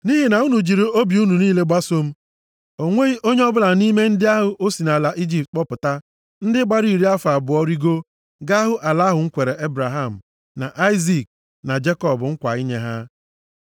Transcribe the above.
‘Nʼihi na unu jụrụ iji obi unu niile gbasoo m, o nweghị onye ọbụla nʼime ndị ahụ o si nʼala Ijipt kpọpụta, ndị gbara iri afọ abụọ rigoo, ga-ahụ ala ahụ m kwere Ebraham na Aịzik na Jekọb nkwa inye ha.’